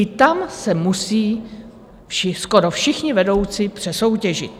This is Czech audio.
I tam se musí skoro všichni vedoucí přesoutěžit.